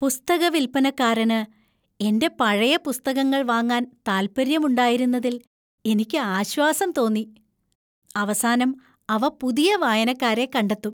പുസ്തക വിൽപ്പനക്കാരന് എന്‍റെ പഴയ പുസ്തകങ്ങൾ വാങ്ങാൻ താൽപ്പര്യമുണ്ടായിരുന്നതിൽ എനിക്ക് ആശ്വാസം തോന്നി. അവസാനം അവ പുതിയ വായനക്കാരെ കണ്ടെത്തും.